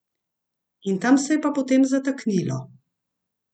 In tam se je pa potem zataknilo.